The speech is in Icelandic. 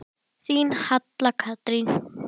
Þín Halla Katrín.